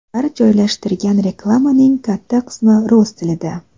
Ular joylashtirgan reklamaning katta qismi rus tilida.